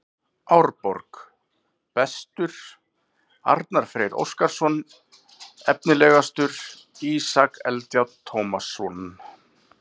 Árborg: Bestur: Arnar Freyr Óskarsson Efnilegastur: Ísak Eldjárn Tómasson